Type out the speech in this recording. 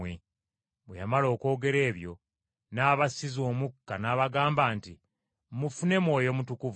Bwe yamala okwogera ebyo n’abassiza omukka, n’abagamba nti, “Mufune Mwoyo Mutukuvu.